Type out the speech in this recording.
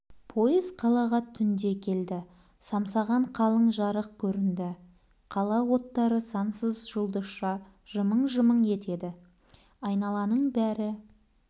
пойыз қалаға түңде келді самсаған қалың жарық көрінді қала оттары сансыз жұлдызша жымың-жымың етеді айналаның бәрі